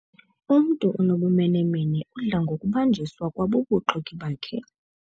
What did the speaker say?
Umntu onobumenemene udla ngokubanjiswa kwabubuxoki bakhe.